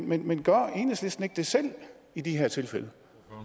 men men gør enhedslisten ikke selv det i de her tilfælde